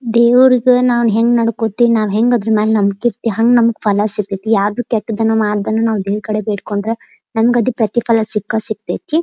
ದೇವರಿಗೂ ನಾವು ಹೆಂಗ್ ನಾಡೋಕೋತೀವಿ ಹೆಂಗ್ ಅದ್ರ ಮೇಲೆ ನಂಬಿಕೆ ಇರ್ತಿವಿ ಹ್ಯಾಂಗ ಅದ್ರ ಮೇಲೆ ಫಲ ಸಿಗ್ತಹಿತಿ ಯಾವ್ದು ಕೆಟ್ಟದನ್ನು ಮಾಡದೇನೆ ದೇವ್ರ ಹತ್ರ ಬಿದ್ಕೊಂಡ್ರ ನಮ್ಗ್ ಅದ್ರ ಪ್ರತಿಫಲ ಸಿಕ್ಕೇ ಸಿಕ್ಕಾತೇತಿ .